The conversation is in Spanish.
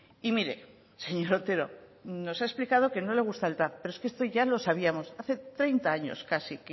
y mire señor otero nos ha explicado que no le gusta el tav pero es que esto ya lo sabíamos hace treinta años casi